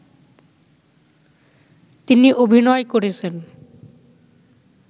তিনি অভিনয় করেছেন